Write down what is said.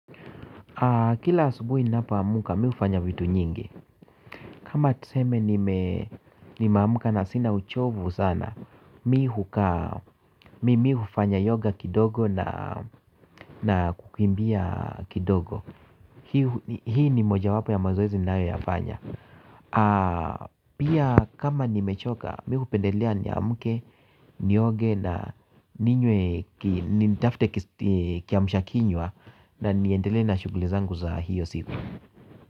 Kila asubuhi ninapoamka, mi hufanya vitu nyingi. Kama tuseme nimeamka na sina uchovu sana, mi hufanya yoga kidogo na kukimbia kidogo. Hii ni mojawapo ya mazoezi ninayoyafanya. Pia kama nimechoka, mi hupendelea niamke, nioge na nitafute kiamsha kinywa na niendelee na shughuli zangu za hiyo siku.